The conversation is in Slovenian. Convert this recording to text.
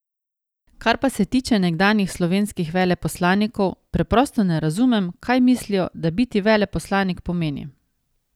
Kar pa se tiče nekdanjih slovenskih veleposlanikov, preprosto ne razumem, kaj mislijo, da biti veleposlanik pomeni.